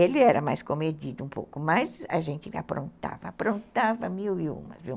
Ele era mais comedido um pouco, mas a gente aprontava, aprontava mil e uma, viu?